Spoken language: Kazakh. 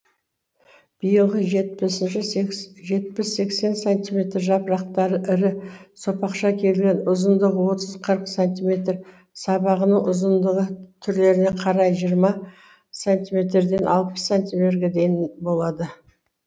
биылғы жетпіс сексен сантиметр жапырақтары ірі сопақша келген ұзындығы отыз қырық сантиметр сабағының ұзындығы түрлеріне қарай жиырма сантиметрден алпыс сантиметрге дейін болады